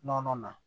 Nɔnɔ na